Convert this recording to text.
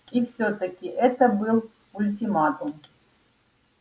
и всё-таки это был ультиматум